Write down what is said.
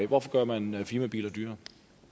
hvorfor gør man firmabiler dyrere